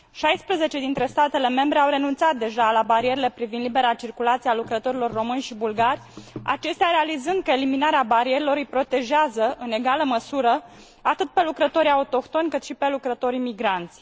16 dintre statele membre au renunțat deja la barierele privind libera circulație a lucrătorilor români și bulgari, acestea realizând că eliminarea barierelor îi protejează, în egală măsură, atât pe lucrătorii autohtoni, cât și pe lucrătorii migranți.